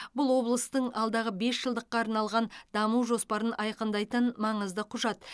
бұл облыстың алдағы бесжылдыққа арналған даму жоспарын айқындайтын маңызды құжат